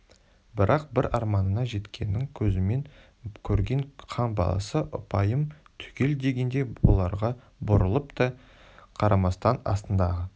бірақ бір арманына жеткенін көзімен көрген хан баласы ұпайым түгел дегендей бұларға бұрылып та қарамастан астындағы